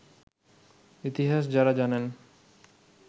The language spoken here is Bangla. ইতিহাস যাঁরা জানেন